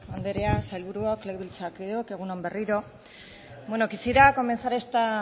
andrea sailburuok legebiltzarkideok egun on berriro bueno quisiera comenzar esta